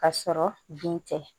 Ka sɔrɔ bin tɛ